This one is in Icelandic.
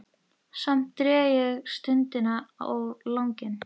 Samt dreg ég stundina á langinn.